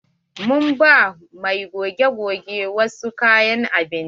Mun ba mai goge-goge wasu kayan abinci.